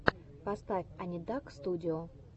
поставь анидакстудио